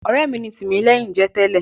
Ọ̀rẹ́ mi ni Tìmílẹ́hìn jẹ́ tẹ́lẹ̀.